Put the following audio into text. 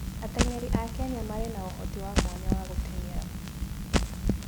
Ateng'eri a Kenya marĩ na ũhoti wa mwanya wa gũteng'era.